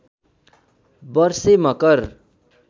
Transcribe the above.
वर्षे मकर